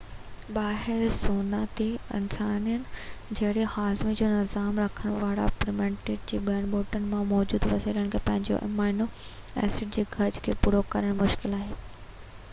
ٻاهر سوانا تي انسانن جهڙي هاضمي جو نظام رکڻ واران پرييميٽ جي لاءِ ٻوٽن مان موجود وسيلن کان پنهنجو امائنو ايسڊ جي گهرج کي پورو ڪرڻ مشڪل آهي